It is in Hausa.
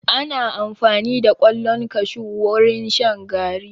Ana amfani da ƙwallon kashu wurin shan garri.